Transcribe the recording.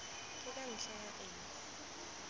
ke ka ntlha ya eng